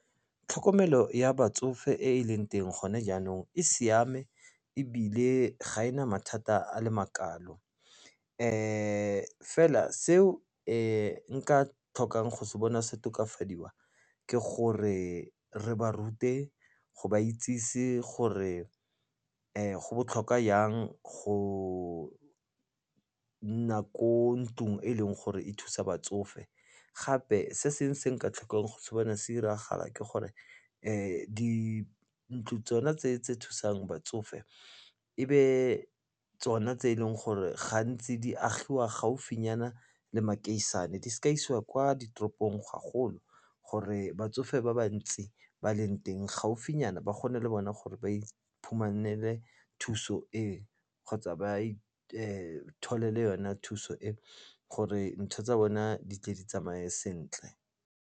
Tlhokomelo ya batsofe e e leng teng gone jaanong e siame ebile ga ena mathata a le makalo. Fela seo nka tlhokang go se bona se tokafadiwa ke gore re ba rute go ba itsise gore go botlhokwa jang go nna ko ntlung e leng gore e thusa batsofe. Gape se seng se nka tlhokang go se bona se 'iragala ke gore dintlo tsona tse tse thusang batsofe e be tsona tse e leng gore gantsi di agiwa gaufinyana le makeišene, di seka isiwa kwa ditoropong ga golo gore batsofe ba ba ntsi ba leng teng gaufinyana ba kgone le bona gore ba iphumanele thuso e kgotsa ba itholele yone thuso e, gore ntho tsa bona di tle di tsamaye sentle.